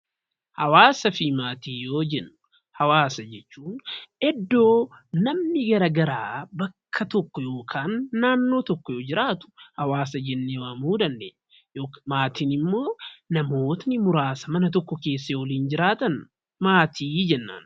Hawaasaa fi Maatii yoo jennu, hawaasa jechuun iddoo namni garaa garaa bakka tokko yookaan naannoo tokko jiraatu hawaasa jennee waamuu dandeenya. Maatiin immoo namootni muraasa mana tokko keessa waliin jiraatan maatii jenna.